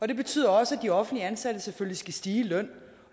det betyder også at de offentligt ansatte selvfølgelig skal stige i løn